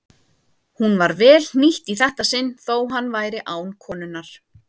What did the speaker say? Hún var vel hnýtt í þetta sinn þótt hann væri án konunnar.